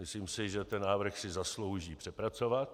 Myslím si, že ten návrh si zaslouží přepracovat.